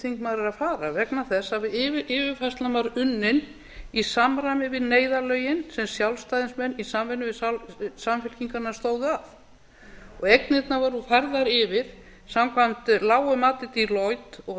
þingmaður er að fara vegna þess að yfirfærslan var unnin í samræmi við neyðarlögin sem sjálfstæðismenn í samvinnu við samfylkinguna stóðu að og eignirnar voru færðar yfir samkvæmt lágu mati deloitte og